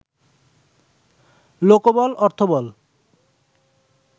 লোকবল/অর্থবল